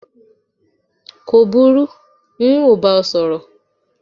ko buru, n ọ bá ọ sorí